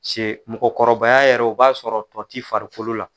se mɔgɔkɔrɔbaya yɛrɛ o b'a sɔrɔ tɔ t'i farikolo la.